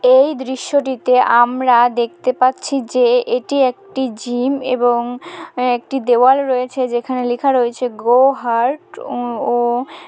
এই দৃশ্যটিতে আমরা দেখতে পাচ্ছি যে এটি একটি জিম এবং একটি দেওয়াল রয়েছে যেখানে লেখা রয়েছে গোহার্ট।